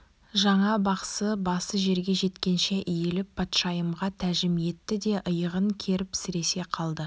жаңа бақсы басы жерге жеткенше иіліп патшайымға тәжім етті де иығын керіп сіресе қалды